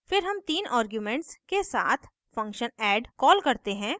फिर हम then arguments के साथ function add कॉल करते हैं